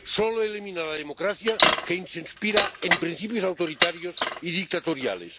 Solo elimina la democracia quien se inspira en principios autoritarios y dictatoriales.